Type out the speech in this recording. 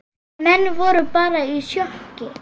Menn voru bara í sjokki.